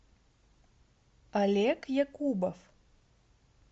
олег якубов